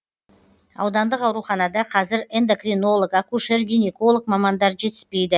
аудандық ауруханада қазір эндокринолог акушер гинеколог мамандар жетіспейді